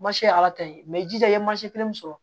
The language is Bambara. ye ala ta ye i jija i ye kelen min sɔrɔ